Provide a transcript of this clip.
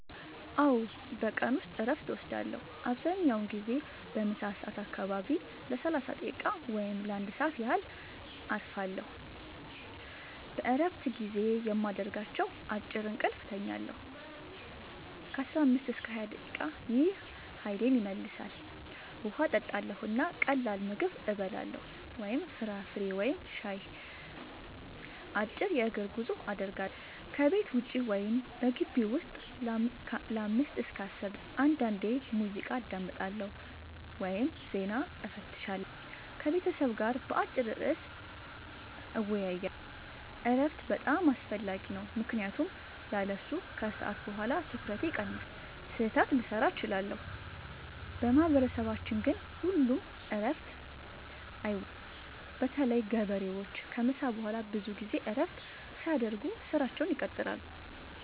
አዎ፣ በቀን ውስጥ እረፍት እወስዳለሁ። አብዛኛውን ጊዜ በምሳ ሰዓት አካባቢ ለ30 ደቂቃ ወይም ለ1 ሰዓት ያህል እረፋለሁ። በእረፍት ጊዜዬ የማደርጋቸው፦ · አጭር እንቅልፍ እተኛለሁ (15-20 ደቂቃ) – ይህ ኃይሌን ይመልሳል። · ውሃ እጠጣለሁ እና ቀላል ምግብ እበላለሁ (ፍራፍሬ ወይም ሻይ)። · አጭር የእግር ጉዞ አደርጋለሁ – ከቤት ውጭ ወይም በግቢው ውስጥ ለ5-10 ደቂቃ። · አንዳንዴ ሙዚቃ አዳምጣለሁ ወይም ዜና እፈትሻለሁ። · ከቤተሰብ ጋር በአጭር ርዕስ እወያያለሁ። እረፍት በጣም አስፈላጊ ነው ምክንያቱም ያለሱ ከሰዓት በኋላ ትኩረቴ ይቀንሳል፣ ስህተት ልሠራ እችላለሁ። በማህበረሰባችን ግን ሁሉም እረፍት አይወስዱም – በተለይ ገበሬዎች ከምሳ በኋላ ብዙ ጊዜ እረፍት ሳያደርጉ ሥራቸውን ይቀጥላሉ።